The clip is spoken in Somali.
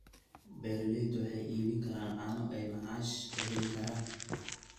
Beeraleydu waxay iibin karaan caano oo ay macaash ka heli karaan.